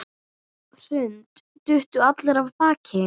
Hrund: Duttu allir af baki?